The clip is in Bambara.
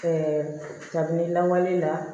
Ɛɛ kabini lawale la